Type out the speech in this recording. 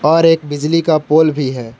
और एक बिजली का पोल भी है।